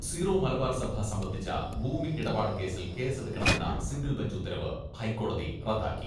Zero Malabar സഭ സംബന്ധിച്ച ഭൂമി ഇടപാട് കേസിൽ കേസെടുക്കണമെന്ന സിംഗിൾ ബഞ്ച് ഉത്തരവ് ഹൈക്കോടതി റദ്ദാക്കി.